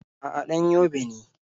A'a, ɗan Yobe ne.